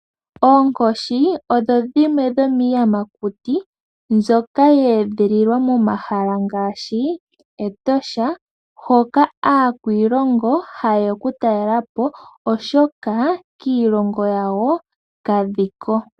Oonkoshi odho dhimwe dhomiiyamakuti mbyoka yeedhililwa momahala ngaashi Etosha, hoka aakwiilongo haye ya kutalelapo oshoka kiilongo yawo kadhiko.